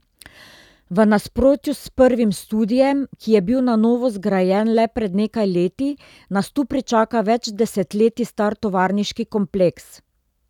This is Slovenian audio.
V nasprotju s prvim studiem, ki je bil na novo zgrajen le pred nekaj leti, nas tu pričaka več desetletij star tovarniški kompleks.